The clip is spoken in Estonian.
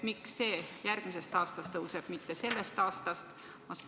Miks see tõuseb alles järgmisest aastast, mitte sellest aastast?